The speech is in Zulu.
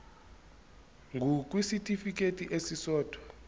ngur kwisitifikedi esisodwa